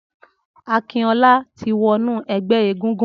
Akinola ti wọ̀nú ẹgbẹ égúngún